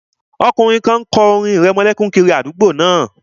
Ọkùnrin kan kọ orin ìrẹmọlẹ́kún kiri àdúgbò náà